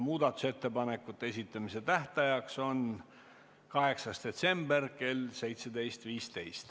Muudatusettepanekute esitamise tähtajaks on 8. detsember kell 17.15.